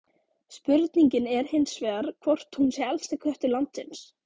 Spurningin er hins vegar hvort hún sé elsti köttur landsins?